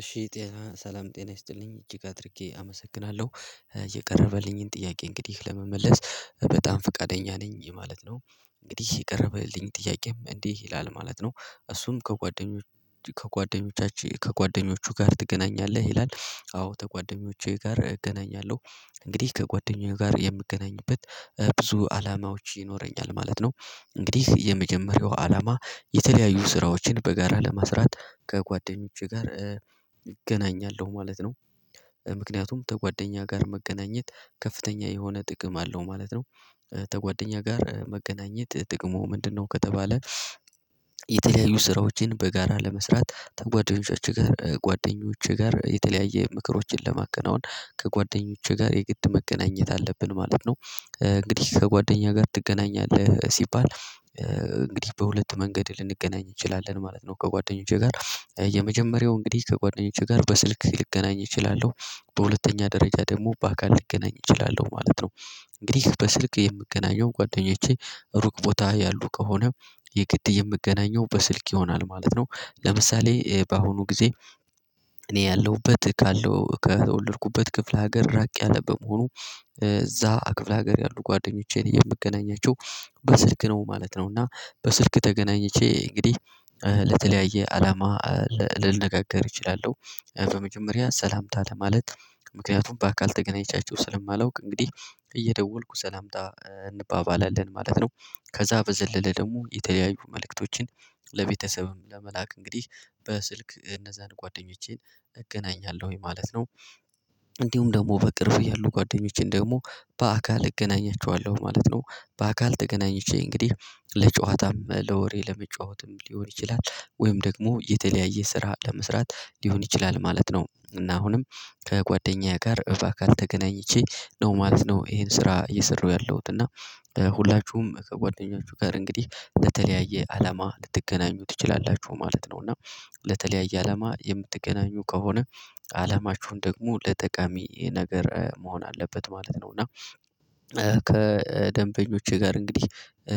እሺ ጤና ሰላም ጤና ይስጥልኝ እጅግ አድርጌ አመሰግናለሁ የቀረበልኝን ጥያቄ እንግዲህ ለመመለስ በጣም ፈቃደኛ ነኝ ይሄ ማለት ነው። እንግዲህ የቀረበልኝ ጥያቄም እንዲህ ይላል ማለት ነው። እሱም ከጓደኞች ከጓደኞቻችን ከጓደኞቹ ጋር ትገናኛለህ? ይላል አዎ ከጓደኞቼ ጋር እገናኛለሁ። እንግዲህ ከጓደኞቼ ጋር የምገናኝበት ብዙ አላማዎች ይኖረኛል ማለት ነው። እንግዲህ የመጀመሪያው አላማ የተለያዩ ስራዎችን በጋራ ለመስራት ከጓደኞቼ ጋር እገናኛለሁ ማለት ነው። ምክንያቱም ከጓደኛ ጋር መገናኘት ከፍተኛ የሆነ ጥቅም አለው ማለት ነው። ከጓደኛ ጋር መገናኘት ጥቅሙ ምንድነው? ከተባለ የተለያዩ ስራዎችን በጋራ ለመስራት ጓደኞቻችን ጋር ጓደኞች ጋር የተለያየ ምክሮችን ለማከናወን ከጓደኞቼ ጋር የግድ መገናኘት አለብን ማለት ነው። እንግዲህ ከጓደኛ ጋር ትገናኛለህ ሲባል? እንግዲህ በሁለት መንገድ ልንገናኝ እንችላለን ማለት ነው። ከጓደኞቼ ጋር የመጀመሪያው እንግዲህ ከጓደኞቼ ጋር በስልክ ልገናኝ እችላለሁ። በሁለተኛ ደረጃ ደግሞ በአካል ልገናኝ እችላለሁ ማለት ነው። እንግዲህ በስልክ የምገናኘው ጓደኞቼ ሩቅ ቦታ ያሉ ከሆነ የግድ የምገናኘው በስልክ ይሆናል ማለት ነው። ለምሳሌ በአሁኑ ጊዜ እኔ ያለሁበት ካለው ከወለድኩበት ክፍለ ሀገር ራቅ ያለ በመሆኑ እዛ ክፍለ ሀገር ያሉ ጓደኞቼን የምገናኛቸው በስልክ ነው ማለት ነው። እና በስልክ ተገናኝቼ እንግዲህ ለተለያየ አላማ ልነጋገር እችላለሁ። በመጀመሪያ ሰላምታ ለማለት ምክንያቱም በአካል ተገናኝቻችሁ ስለማላውቅ እንግዲህ እየደወልኩ ስላምጣ እንባባላለን ማለት ነው። ከዛ በዘለለ ደግሞ የተለያዩ መልእክቶችን ለቤተሰብም ለመላክ እንግዲህ በስልክ እነዛን ጓደኞቼን እገናኛለሁ ማለት ነው። እንዲሁም ደግሞ በቅርቡ ያሉ ጓደኞቼን ደግሞ በአካል እገናኛቸዋለሁ ማለት ነው። በአካል ተገናኝቼ እንግዲህ ለጨዋታም ለወሬ ለመጫወትም ሊሆን ይችላል ወይም ደግሞ የተለያየ ስራ ለመስራት ሊሆን ይችላል ማለት ነው። እና አሁንም ከጓደኛዬ ጋር በአካል ተገናኝቼ ነው ማለት ነው ይሄን ስራ እየሰራሁ ያለሁት እና። ሁላችሁም ከጓደኛችሁ ጋር እንግዲህ በተለያየ አላማ ልትገናኙ ትችላላችሁ ማለት ነው። እና ለተለያየ አላማ የምትገናኙ ከሆነ አላማችሁን ደግሞ ለጠቃሚ ነገር መሆን አለበት ማለት ነው። እና ከደንበኞቼ ጋር እንግዲህ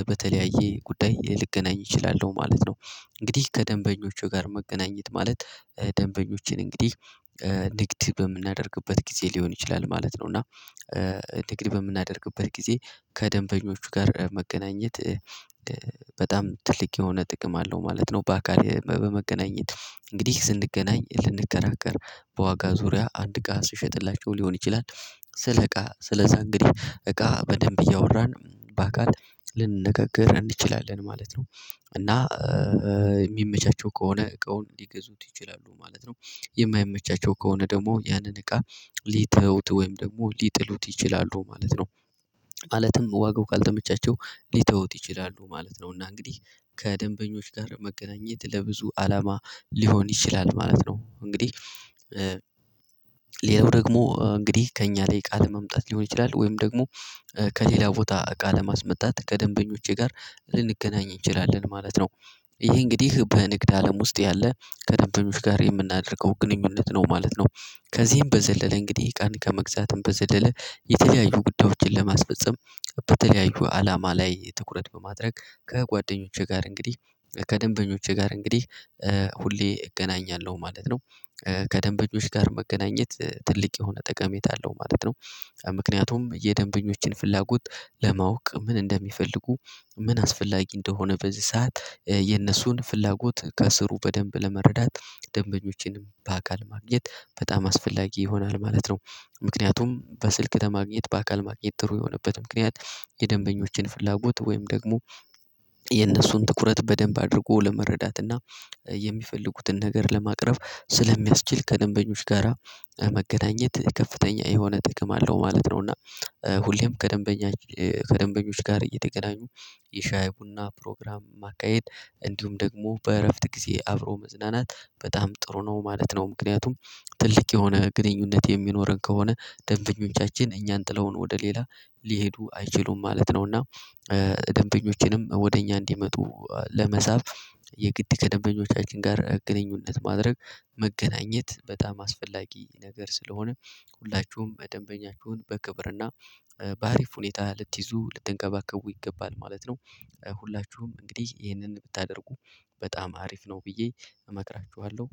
በተለያየ ጉዳይ ልገናኝ እችላለሁ ማለት ነው። እንግዲህ ከደንበኞቹ ጋር መገናኘት ማለት ደንበኞችን እንግዲህ ንግድ በምናደርግበት ጊዜ ሊሆን ይችላል ማለት ነው። እና ንግድ በምናደርግበት ጊዜ ከደንበኞቹ ጋር መገናኘት በጣም ትልቅ የሆነ ጥቅም አለው ማለት ነው። በአካል በመገናኘት እንግዲህ ስንገናኝ ልንከራከር በዋጋ ዙሪያ አንድ እቃ ስሸጥላቸው ሊሆን ስለ እቃ ስለዛ እንግዲህ እቃ በደንብ እያወራን በአካል ልንነጋገር እንችላለን ማለት ነው። እና የሚመቻቸው ከሆነ እቃውን ሊገዙት ይችላሉ ማለት ነው። የማይመቻቸው ከሆነ ደግሞ ያንን እቃ ሊተውት ወይም ደግሞ ሊጥሉት ይችላሉ ማለት ነው። ማለትም ዋጋው ካልተመቻቸው ሊተውት ይችላሉ ማለት ነው እና እንግዲህ ከደንበኞች ጋር መገናኘት ለብዙ አላማ ሊሆን ይችላል ማለት ነው። እንግዲህ ሌላው ደግሞ እንግዲህ ከእኛ ላይ እቃ ለማምጣት ሊሆን ይችላል ወይም ደግሞ ከሌላ ቦታ ቃል ለማስመጣት ከደንበኞቼ ጋር ልንገናኝ እንችላለን ማለት ነው። ይህ እንግዲህ በንግድ አለም ውስጥ ያለ ከደንበኞች ጋር የምናደርገው ግንኙነት ነው ማለት ነው። ከዚህም በዘለለ እንግዲህ ቀን ከመግዛትም በዘለለ የተለያዩ ጉዳዮችን ለማስፈፀም በተለያዩ አላማ ላይ ትኩረት በማድረግ ከጓደኞቼ ጋር እንግዲህ ከደንበኞቼ ጋር እንግዲህ ሁሌ እገናኛለሁ ማለት ነው። ከደንበኞች ጋር መገናኘት ትልቅ የሆነ ጠቀሜታ አለው ማለት ነው። ምክንያቱም የደንበኞችን ፍላጎት ለማወቅ ምን እንደሚፈልጉ ምን አስፈላጊ እንደሆነ በዚህ ሰዓት የነሱን ፍላጎት ከስሩ በደንብ ለመረዳት ደንበኞችንም በአካል ማግኘት በጣም አስፈላጊ ይሆናል ማለት ነው። ምክንያቱም በስልክ ከማግኘት በአካል ማግኘት ጥሩ የሆነበት ምክንያት የደንበኞችን ፍላጎት ወይም ደግሞ የነሱን ትኩረት በደንብ አድርጎ ለመረዳት እና የሚፈልጉትን ነገር ለማቅረብ ስለሚያስችል ከደንበኞች ጋራ መገናኘት ከፍተኛ የሆነ ጥቅም አለው ማለት ነው። እና ሁሌም ከደንበኛ ከደንበኞች ጋር እየተገናኙ የሻይ ቡና ፕሮግራም ማካሄድ እንዲሁም ደግሞ በእረፍት ጊዜ አብሮ መዝናናት በጣም ጥሩ ነው ማለት ነው። ምክንያቱም ትልቅ የሆነ ግንኙነት የሚኖረን ከሆነ ደንበኞቻችን እኛን ጥለውን ወደ ሌላ ሊሄዱ አይችሉም ማለት ነው። እና ደንበኞችንም ወደ እኛ እንዲመጡ ለመሳብ የግድ ከደንበኞቻችን ጋር ግንኙነት ማድረግ መገናኘት በጣም አስፈላጊ ነገር ስለሆነ ሁላችሁም በደንበኛችሁን በክብርና በአሪፍ ሁኔታ ልትይዙ ልትንከባከቡ ይገባል ማለት ነው። ሁላችሁም እንግዲህ ይህንን ብታደርጉ በጣም አሪፍ ነው ብዬ እመክራችኋለሁ።